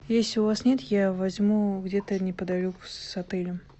если у вас нет я возьму где то неподалеку с отелем